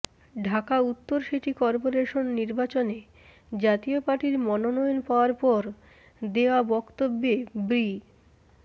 ঢাকা উত্তর city corporation নির্বাচনে জাতীয় পার্টির মনোনয়ন পাওয়ার পর দেওয়া বক্তব্যে ব্রি